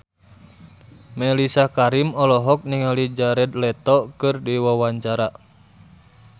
Mellisa Karim olohok ningali Jared Leto keur diwawancara